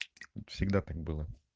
всегда так было